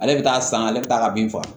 Ale bɛ taa san ale bɛ taa ka bin faga